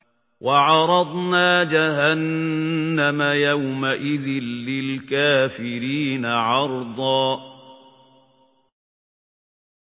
وَعَرَضْنَا جَهَنَّمَ يَوْمَئِذٍ لِّلْكَافِرِينَ عَرْضًا